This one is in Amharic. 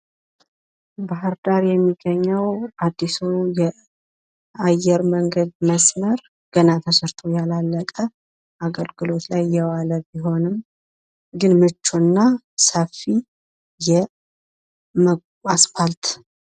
ባህር ዳር የሚገኘው አዲስ የአየር መስመር መንገድ ገና ተሰርቶ ያላለቀ፣ አገልግሎት ላይ እየዋለ ቢሆንም ግን ምቹ እና ሰፊ የአስፓልት